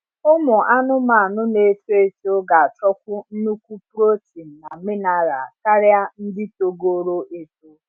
ụmụ anụmanụ na eto eto ga achọkwu nnukwu protein na mineral karia ndị togoro eto